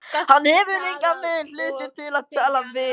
Hann hefur engan við hlið sér til að tala við.